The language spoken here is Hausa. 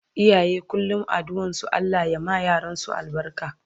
Iyaye kullum addu'an su Allah ya ma yaransu albarka